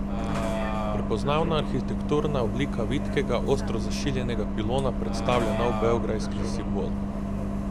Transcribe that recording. Prepoznavna arhitekturna oblika vitkega, ostro zašiljenega pilona predstavlja nov beograjski simbol.